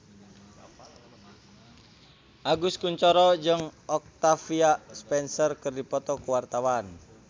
Agus Kuncoro jeung Octavia Spencer keur dipoto ku wartawan